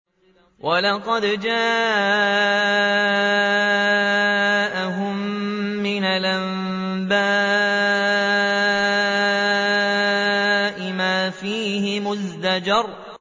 وَلَقَدْ جَاءَهُم مِّنَ الْأَنبَاءِ مَا فِيهِ مُزْدَجَرٌ